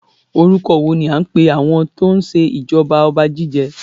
Orúkọ wo ní a ń pè àwọn tó ń ṣe ìjọba ọba Jíjẹ?